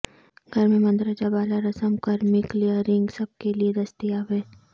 گھر میں مندرجہ بالا رسم کرمی کلیئرنگ سب کے لئے دستیاب ہے